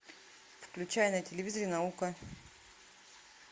включай на телевизоре наука